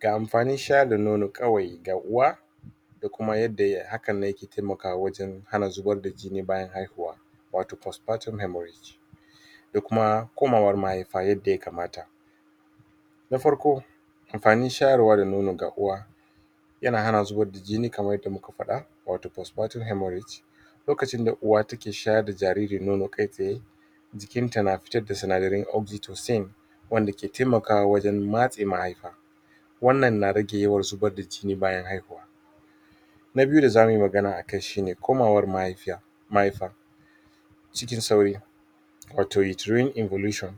Ga amfanin sha da nono kawai ga uwa sai kuma yadda haka ne ke taimaka wajan hana zuba da jini bayan hihuwa wato post-partum haemorrhage sai kuma komawa maihaifa yadda ya kamata na farko kin fahim shayarwar da nono ga uwa yana hana zubar da jini kamar yadda muka faɗa wato post-partrum haemorrage lokacin da uwa take shayarda jajrir nono kai tsaye jiki ta na fita na sinadarin oxytocin wane kai taimaka wajen matsa maihaifa wane na rage yawa zubar da jini bayyan haihuwa na biyu da zamu yi magana akai shine komawar maihaifar-mahaifa cikin sauri wato you trained revolution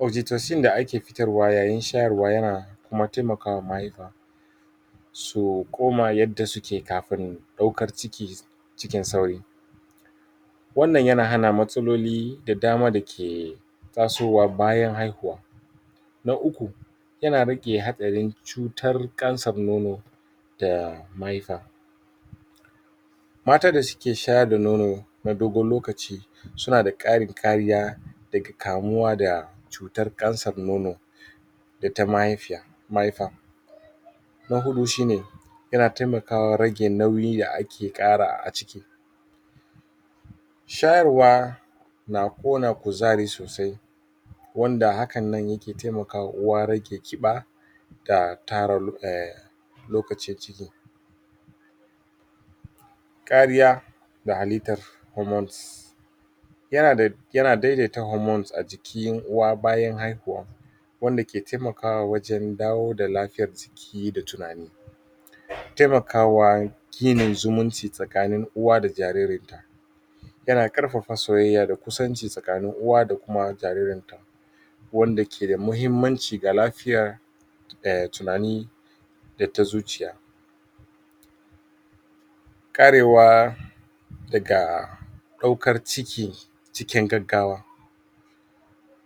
oxytocin da ake fitar wa yayin shayarnwa yana taimakawa mahaifa su koma yadda suke kafin daukar ciki cikin sauri wannan yana hana matsaloli da dama dake taso wa bayan haihuwa na uku yana rage hatsarin cutar kansar nono da mahaifa mata da suke shayar da nono na dogon lokaci suna da karin kariya daga kamuwa da cutar kansar nono da ta mahaifa Na hudu shine yana taimakawa rage nauyi da ake kara a ciki shayarwa na kona kuzari sosai wanda hakannan yake taimakawa uwa rage kiba da tara lokacin ciki Ƙariya ga halittan hormones yana daidaita hormones a jikin uwa bayan haihuwa wanda ke taimakawa wajan dawo da lafiyar jiki da tunani yana taimakawa da ginin zumun ci tsakanin uwa da jariri yana ƙarfafa soyayya da kusanci tsakanin uwa da kuma jaririn duk wanda keda muhimmanci ga lafiya da tunani data zuciya karewa daga daukar ciki cikin gaggawa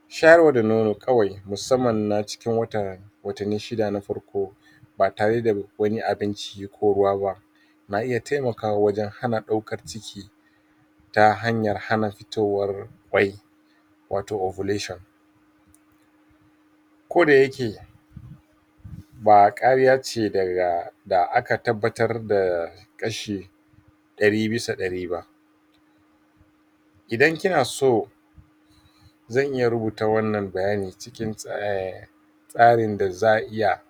shayarwa da nono kawai musamman na cikin watan watanni shida na farko ba tareda wani abinci ko ruwa ba na iya taimakawa wajan hana daukar ciki ta hanyar hana fitowar kwai wato ovulation koda yake ba kariya ce da aka tabbabtar da kashi dari bisa dari idan kina so zan iya rubuta wannan bayani cikin tsarin da za'a iya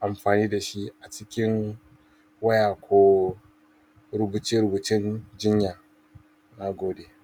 amfani dashi a cikin waya ko rubuce rubucen jinya, nagode.